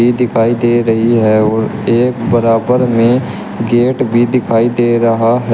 दिखाई दे रही है और एक बराबर में गेट भी दिखाई दे रहा है।